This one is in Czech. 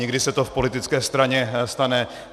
Někdy se to v politické straně stane.